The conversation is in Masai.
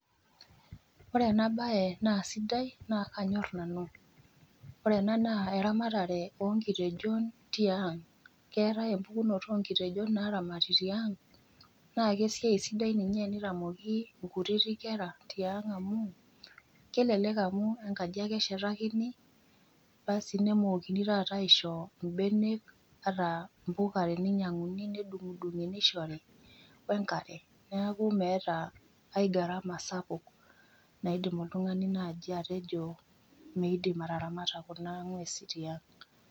Ore enabae na sidai na kanyor nanu. Ore ena naa eramatare onkitejon tiang',keetae empukunoto onkitejon naramati tiang',na kesiai sidai ninye enitamoki inkutiti kera tiang' amu, kelelek amu enkaji ake eshetakini, basi nemookini taata aisho ibenek ata mpuka teninyang'uni nedung'idung'i nishori, wenkare. Neeku meeta ai gharama sapuk naidim oltung'ani naji atejo midim ataramata kuna ng'uesin tiang'.